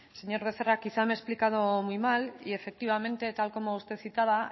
señor becerra quizá me he explicado muy mal y efectivamente tal y como usted citaba